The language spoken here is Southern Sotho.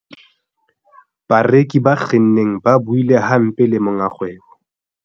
bareki ba kgenneng ba buile hampe le monga kgwebo